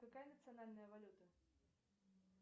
какая национальная валюта